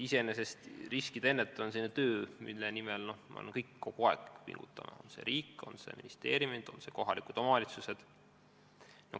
Iseenesest on riskide ennetamine selline töö, mille nimel peavad kõik kogu aeg pingutama – nii riik, ministeeriumid kui ka kohalikud omavalitsused.